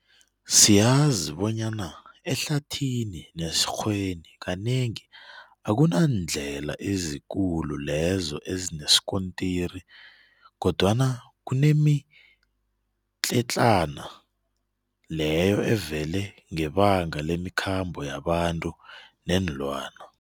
Siyazi bonyana ehlathini nesikghweni kanengi akunandlela ezikulu lezo ezinesikontiri kodwana kunemitletlana leyo evele ngebanga lemikhambo yabantu neenlwana.